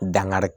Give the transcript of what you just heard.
Dankari